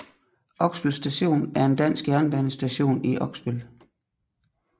Oksbøl Station er en dansk jernbanestation i Oksbøl